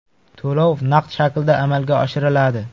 To‘lov naqd shaklda amalga oshiriladi.